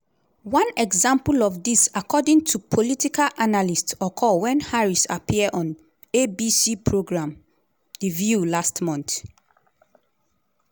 one example of dis according to political analysts occur wen harris appear on abc programme 'the view' last month.